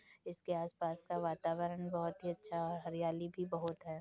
इसके आसपास का वातावरण बहुत ही अच्छा और हरियाली भी बहुत है।